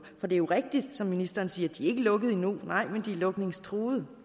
for det er rigtigt som ministeren siger at de ikke er lukkede endnu nej men de er lukningstruede